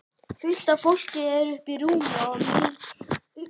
Eru hlutirnir eitthvað að lagast hjá Félagsbústöðum?